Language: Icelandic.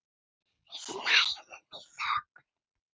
Við snæðum í þögn.